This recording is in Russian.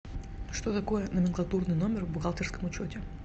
что такое номенклатурный номер в бухгалтерском учете